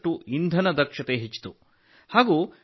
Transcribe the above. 10ರಷ್ಟು ಇಂಧನ ದಕ್ಷತೆ ಹೆಚ್ಚಿತು